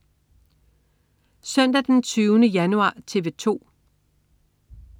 Søndag den 20. januar - TV 2: